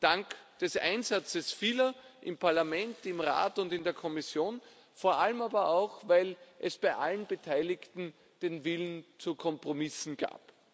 Dank des Einsatzes vieler im Parlament, im Rat und in der Kommission, vor allem aber auch, weil es bei allen Beteiligten den Willen zu Kompromissen gab.